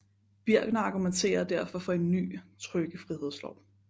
Birckner argumenterer derfor for en ny trykkefrihedslov